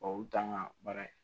u t'an ka baara ye